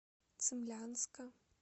цимлянска